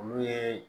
Olu ye